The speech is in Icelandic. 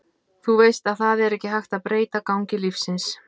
Þú veist að það er ekki hægt að breyta gangi lífsins.